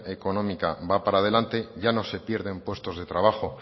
económica va para adelante ya no se pierden puestos de trabajo